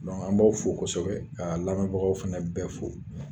an b'aw fo kɔsɛbɛ kaa lamɛbagaw fɛnɛ bɛɛ fo.